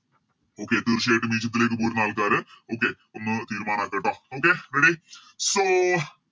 Okay തീർച്ചയായിട്ടും ഈജിപ്തിലേക്ക് പോരുന്ന ആൾക്കാര് Okay ഒന്ന് തീരുമാനക്കാട്ടോ Okay ready so